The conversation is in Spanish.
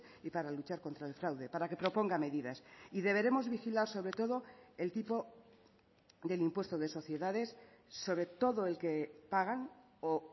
y para luchar contra el fraude para que proponga medidas y deberemos vigilar sobre todo el tipo del impuesto de sociedades sobre todo el que pagan o